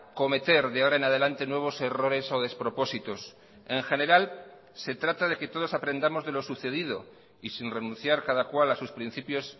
cometer de ahora en adelante nuevos errores o despropósitos en general se trata de que todos aprendamos de lo sucedido y sin renunciar cada cual a sus principios